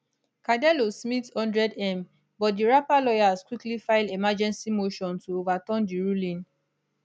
cardellosmith 100m but di rapper lawyers quickly file emergency motion to overturn di ruling